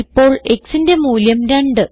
ഇപ്പോൾ xന്റെ മൂല്യം 2